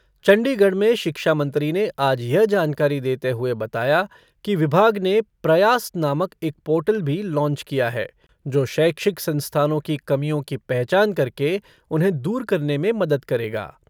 चंडीगढ़ में शिक्षा मंत्री ने आज यह जानकारी देते हुए बताया कि विभाग ने प्रयास नामक एक पोर्टल भी लॉन्च किया है जो शैक्षिक संस्थानों की कमियों की पहचान करके उन्हें दूर करने में मदद करेगा।